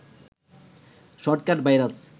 shortcut virus